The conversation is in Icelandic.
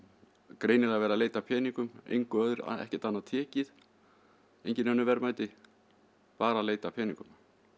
greinilega verið að leita að peningum ekkert annað tekið engin önnur verðmæti bara að leita að peningum